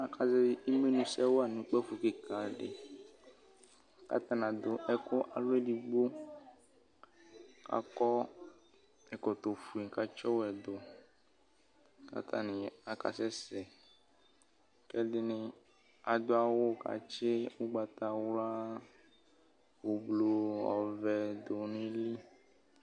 Aka zɛvɩ imenu sɛ wa nʋ kpǝfo kɩka dɩ,katanɩ adʋ ɛkʋ alɔ edigbo, kakɔ ɛkɔtɔ fue katsɩ ɔwɛ dʋ,katanɩ aka sɛsɛ; kɛdɩnɩ adʋ awʋ katsɩ ʋgbatawla, ʋblʋ ,ɔvɛ dʋ nili